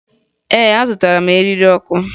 Ee, azụtara m eriri ọkụ ndị ahụ